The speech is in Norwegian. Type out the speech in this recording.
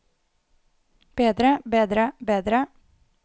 bedre bedre bedre